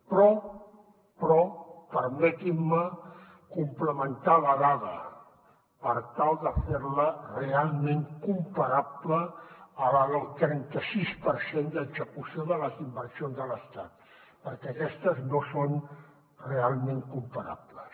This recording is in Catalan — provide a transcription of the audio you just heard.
però però permetin me complementar la dada per tal de fer la realment comparable a la del trenta sis per cent d’execució de les inversions de l’estat perquè aquestes no són realment comparables